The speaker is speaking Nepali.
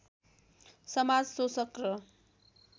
समाज शोषक र